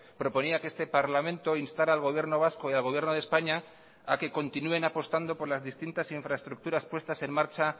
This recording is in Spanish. proponía que este parlamento instara al gobierno vasco y al gobierno de españa a que continúen apostando por las distintas infraestructuras puestas en marcha